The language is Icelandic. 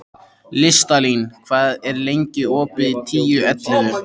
Listalín, hvað er lengi opið í Tíu ellefu?